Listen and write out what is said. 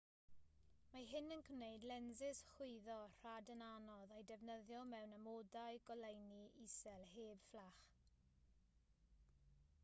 mae hyn yn gwneud lensys chwyddo rhad yn anodd eu defnyddio mewn amodau goleuni isel heb fflach